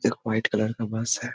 एक white colour का bus है ।